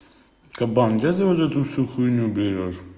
кабан где ты вот это всю хуйню берёшь